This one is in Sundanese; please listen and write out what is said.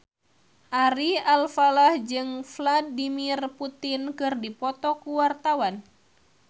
Ari Alfalah jeung Vladimir Putin keur dipoto ku wartawan